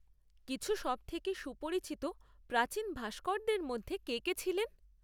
কিছু সবথেকে সুপরিচিত প্রাচীন ভাস্করদের মধ্যে কে কে ছিলেন?